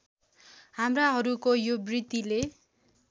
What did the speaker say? हाम्राहरूको यो वृत्तिले